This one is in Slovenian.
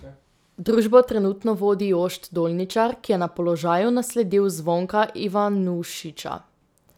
Družbo trenutno vodi Jošt Dolničar, ki je na položaju nasledil Zvonka Ivanušiča.